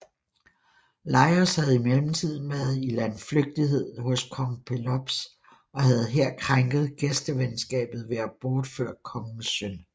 Laios havde i mellemtiden været i landflygtighed hos kong Pelops og havde her krænket gæstevenskabet ved at bortføre kongens søn